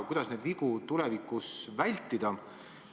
Kuidas neid vigu tulevikus vältida?